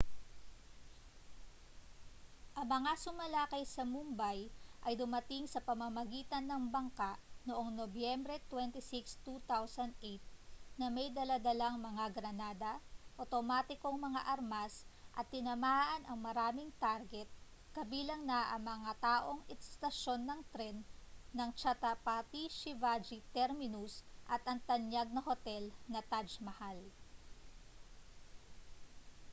ang mga sumalakay sa mumbai ay dumating sa pamamagitan ng bangka noong nobyembre 26 2008 na may dala-dalang mga granada awtomatikong mga armas at tinamaan ang maraming target kabilang na ang mataong istasyon ng tren ng chhatrapati shivaji terminus at ang tanyag na hotel na taj mahal